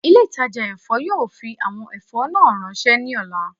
Ile-itaja èfó yoo fi awọn ẹfọ naa ranṣẹ ni ọla